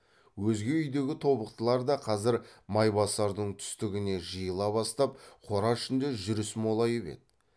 өзге үйдегі тобықтылар да қазір майбасардың түстігіне жиыла бастап қора ішінде жүріс молайып еді